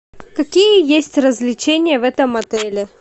какие есть развлечения в этом отеле